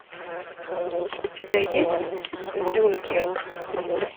у тебя есть дюнкерк